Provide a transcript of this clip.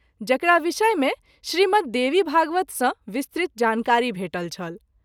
जकरा विषय मे श्री मद्देवीभागवत सँ विस्तृत जानकारी भेटल छल।